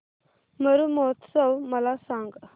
मरु महोत्सव मला सांग